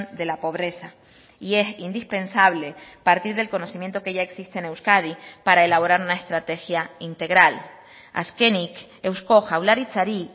de la pobreza y es indispensable partir del conocimiento que ya existe en euskadi para elaborar una estrategia integral azkenik eusko jaurlaritzari